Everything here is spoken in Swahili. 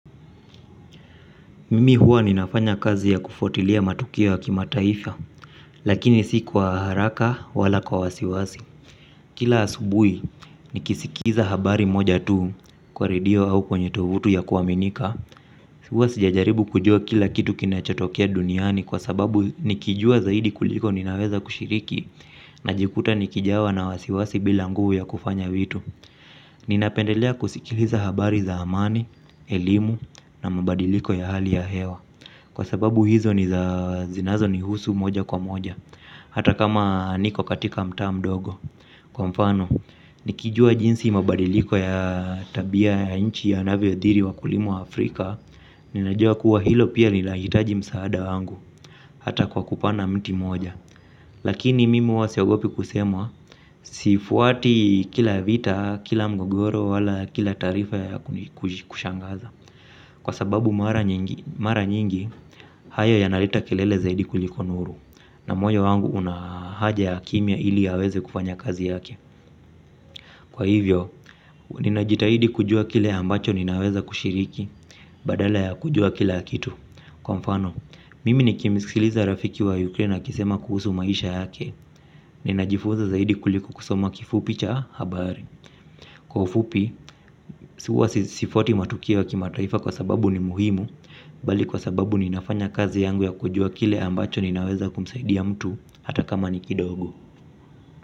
Mimi huwa ninafanya kazi ya kufuatilia matukio ya kimataifa. Lakini si kwa haraka wala kwa wasiwasi. Kila asubui nikisikiza habari moja tuu kwa redio au kwenye tovutu ya kuaminika huwa sijajaribu kujua kila kitu kinachotokea duniani kwa sababu nikijua zaidi kuliko ninaweza kushiriki najikuta nikijawa na wasiwasi bila nguvu ya kufanya vitu ninapendelea kusikiliza habari za amani elimu na mabadiliko ya hali ya hewa kwa sababu hizo ni za zinazonihusu moja kwa moja. Hata kama niko katika mtaa mdogo. Kwa mfano, nikijua jinsi mabadiliko ya tabia ya nchi yanavyoathiri wakulima waafrika. Ninajua kuwa hilo pia linahitaji msaada wangu. Hata kwa kupana mti moja. Lakini mimi huwa siogopi kusema. Sifuati kila vita, kila mgogoro, wala kila taarifa ya kushangaza. Kwa sababu mara nyingi, hayo yanareta kelele zaidi kuliko nuru. Na moyo wangu una haja ya kimya ili aweze kufanya kazi yake. Kwa hivyo, ninajitahidi kujua kile ambacho ninaweza kushiriki badala ya kujua kila kitu kwa mfano mimi nikimsikiliza rafiki wa Ukraine akisema kuhusu maisha yake. Ninajifunza zaidi kuliko kusoma kifupi cha habari. Kwa ufupi, huwa sifuati matukio ya kimataifa kwa sababu ni muhimu bali kwa sababu ninafanya kazi yangu ya kujua kile ambacho ninaweza kumsaidia mtu hata kama ni kidogo.